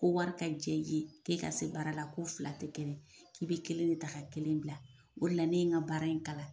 Ko wari ka k'e ka se baara la ko fila tɛ taa k'i be kelen de ta ka kelen bila . O de la ne ye ka baara in kalan.